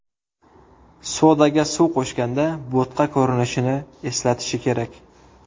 Sodaga suv qo‘shganda bo‘tqa ko‘rinishini eslatishi kerak.